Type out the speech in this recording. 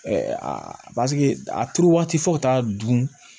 paseke a turu waati fo taa dun